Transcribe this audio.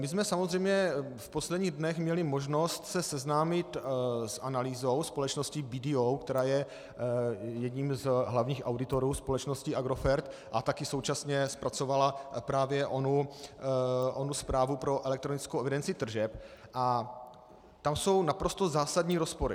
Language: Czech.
My jsme samozřejmě v posledních dnech měli možnost se seznámit s analýzou společnosti BDO, která je jedním z hlavních auditorů společnosti Agrofert a také současně zpracovala právě onu zprávu pro elektronickou evidenci tržeb, a tam jsou naprosto zásadní rozpory.